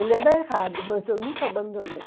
Ele era errado, mas eu nunca abandonei